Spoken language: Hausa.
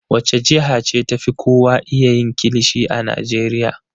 Wace jiha ce ta fi kowa iya yin kilishi a Najeriya?